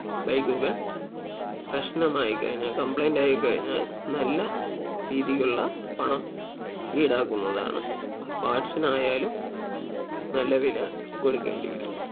bike കൾ പ്രശ്നമായി കഴിഞ്ഞാൽ complaint ആയി കഴിഞ്ഞാൽ നല്ല രീതിക്കുള്ള പണം ഈടാക്കുന്നതാണ് parts നായാലും നല്ല വില കൊടുക്കേണ്ടി വരും